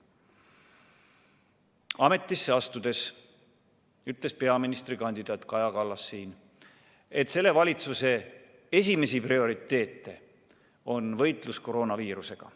Ametisse astudes ütles peaministrikandidaat Kaja Kallas siin, et selle valitsuse esimesi prioriteete on võitlus koroonaviirusega.